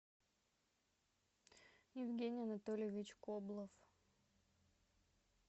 евгений анатольевич коблов